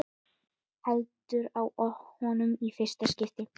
Heldur á honum í fyrsta skipti.